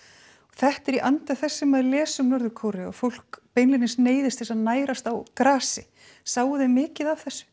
þetta er í anda þess sem maður les um Norður Kóreu að fólk neyðist til að nærast á grasi sáuð þið mikið af þessu